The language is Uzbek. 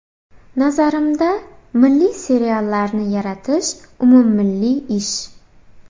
Nazarimda, milliy seriallarni yaratish umummilliy ish.